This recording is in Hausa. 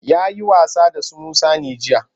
Ya yi wasa da su Musa ne jiya?